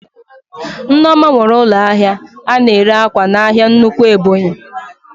Nneoma nwere ụlọ ahịa ana ere ákwà n'ahia nnukwu Ebonyi